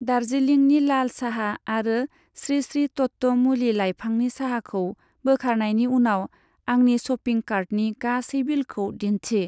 दार्जिलिंनि लाल साहा आरो स्रि स्रि तत्व मुलि लाइफांनि साहाखौ बोखारनायनि उनाव आंनि श'पिं कार्टनि गासै बिलखौ दिन्थि।